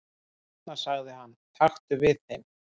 """Hérna sagði hann, taktu við þeim"""